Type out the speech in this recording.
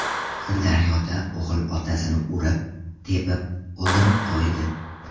Sirdaryoda o‘g‘il otasini urib-tepib, o‘ldirib qo‘ydi.